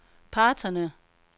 parterne